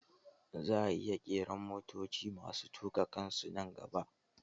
Za'a iya ƙera motoci masu tuƙa kansu nan gaba